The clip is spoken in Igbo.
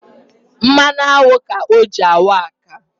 Mmanụ aṅụ ka ọ jị anwụ akamụ